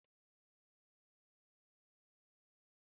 Sie ofe Banga taa!